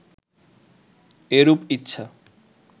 এরূপ ইচ্ছা